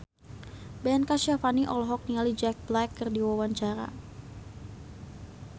Ben Kasyafani olohok ningali Jack Black keur diwawancara